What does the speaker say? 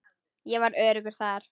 Ég var öruggur þar.